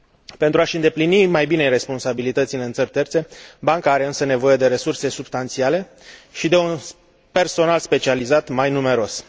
Pentru a și îndeplini mai bine responsabilitățile în țări terțe banca are însă nevoie de resurse substanțiale și de un personal specializat mai numeros.